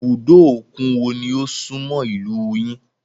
Ibùdó òkun wo ni ó súnmọ́ ìlúu yín?